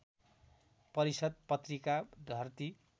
परिषद् पत्रिका धरती